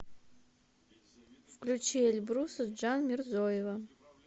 включи эльбруса джанмирзоева